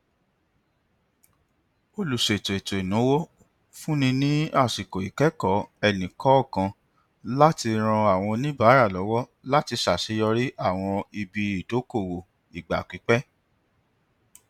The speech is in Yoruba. olùṣètò etoináwó fúnni ní àsìkò ikẹkọọ ẹnikọọkan láti ràn àwọn oníbàárà lọwọ láti ṣàṣeyọrí àwọn ibi ìdókòwò ìgbàpípẹ